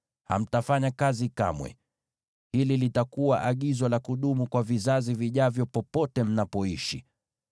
Hamtafanya kazi kamwe. Hili litakuwa agizo la kudumu kwa vizazi vijavyo popote mnapoishi.